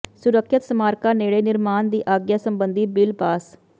ਸੁਰੱਖਿਅਤ ਸਮਾਰਕਾਂ ਨੇੜੇ ਨਿਰਮਾਣ ਦੀ ਆਗਿਆ ਸਬੰਧੀ ਬਿੱਲ ਪਾਸ